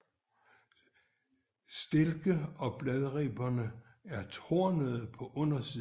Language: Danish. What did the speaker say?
Stilke og bladribberne er tornede på undersiden